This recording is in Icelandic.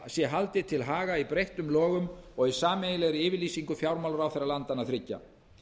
sé haldið til haga í breyttum lögum og í sameiginlegri yfirlýsingu fjármálaráðherra landanna þriggja